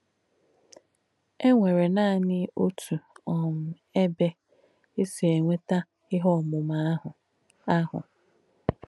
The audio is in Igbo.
È nwèrè nànì ótù um èbè è sì ènwétà íhe òmùmà àhù. àhù.